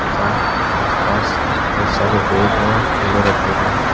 तथा आस पास बहुत सारे बैग वा झोले रखे हुए हैं।